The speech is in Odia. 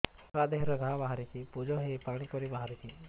ଛୁଆ ଦେହରେ ଘା ବାହାରିଛି ପୁଜ ହେଇ ପାଣି ପରି ବାହାରୁଚି